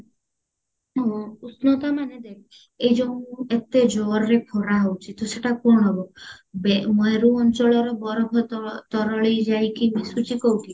ଉଷ୍ଣ ତା ମାନେ ଦେଖ ଏଇ ଯୋଉ ଏତେ ଜୋରରେ ଖରା ହଉଚି ତ ସେଟା କଣ ହବ ବେ ମରୁ ଅଞ୍ଚଳର ବରଫ ତର ତରଳି ଯାଇକି ମିଶୁଚି କଉଠି